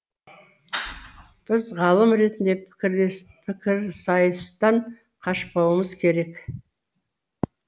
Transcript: біз ғалым ретінде пікір сайыстан қашпауымыз керек